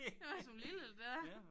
Det mig som lille det der